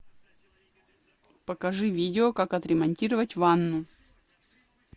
покажи видео как отремонтировать ванну